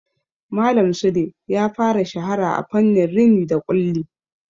Malam Sule ya fara shahara a fannin rini da ƙulli.